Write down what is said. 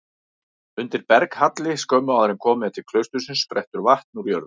Undir berghalli skömmu áður en komið er til klaustursins sprettur vatn úr jörðu.